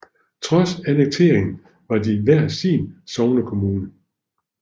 Trods annekteringen var de hver sin sognekommune